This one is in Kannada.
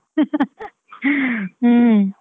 ಹ್ಮ್.